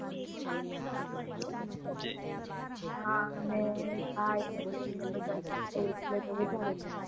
હા ને, ભાય ને બેન ને બધા સાથે હોય એટલે તો વધારે મજા આવે